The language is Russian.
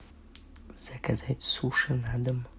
заказать суши на дом